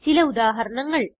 ചില ഉദാഹരണങ്ങൾ